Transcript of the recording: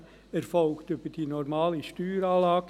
Dieser erfolgt schon heute über die normale Steueranlage.